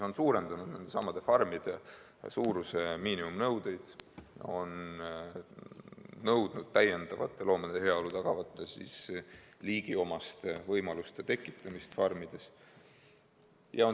On suurendatud nendesamade puuride suuruse miinimumnõudeid ja nõutud täiendavate loomade heaolu tagavate liigiomaste võimaluste tekitamist farmides.